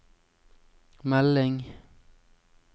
melding